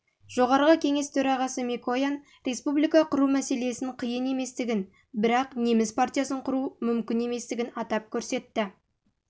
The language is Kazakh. жоғарғы кеңес төрағасы микоян республика құру мәселесін қиын еместігін бірақ неміс партиясын құру мүмкін еместігін атап көрсетті